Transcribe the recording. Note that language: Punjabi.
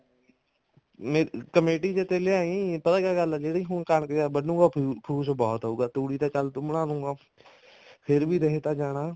ਕਮੇਟੀ ਪਾ ਤੇ ਲੇਆਈ ਪਤਾ ਕੀ ਗੱਲ ਹੈ ਜਿਹੜੀ ਹੁਣ ਕਣਕ ਫੂਸ ਬਹੁਤ ਹੋਊਗਾ ਤੂੜੀ ਤਾਂ ਚੱਲ ਤੂੰ ਬਣਾ ਦੁਗਾ ਫ਼ੇਰ ਵੀ ਰਹ ਤਾਂ ਜਾਣਾ